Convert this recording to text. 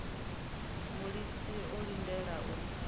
a mulisa o lindela u